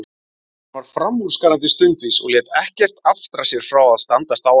Hann var framúrskarandi stundvís og lét ekkert aftra sér frá að standast áætlun.